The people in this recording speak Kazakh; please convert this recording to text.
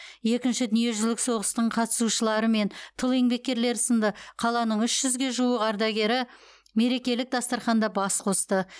екінші дүниежүзілік соғыстың қатысушылары мен тыл еңбеккерлері сынды қаланың үш жүзге жуық ардагері мерекелік дастарханда бас қосты